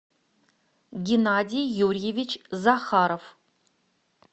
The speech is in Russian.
геннадий юрьевич захаров